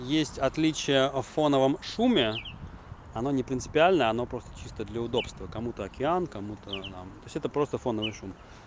есть отличия о фоновом шуме оно не принципиально она просто чисто для удобства кому-то океан кому-то там то есть все это просто фоновый шум